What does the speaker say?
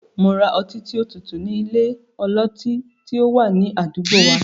Mo ra ọtí tí ó tutù ní ilé ọlọtí tí ó wà ní àdúgbò wa.